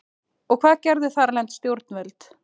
Og hvað gerðu þarlend stjórnvöld?